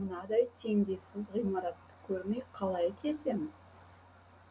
мынадай теңдессіз ғимаратты көрмей қалай кетем